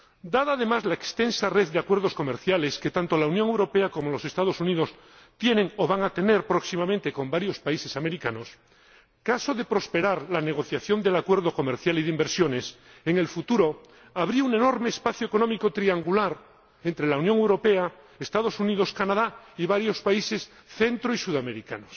Dada, además, la extensa red de acuerdos comerciales que tanto la Unión Europea como los Estados Unidos tienen o van a tener próximamente con varios países americanos, caso de prosperar la negociación del acuerdo de comercio e inversión, en el futuro habría un enorme espacio económico triangular entre la Unión Europea, los Estados Unidos, Canadá y varios países de Centroamérica y Sudamérica.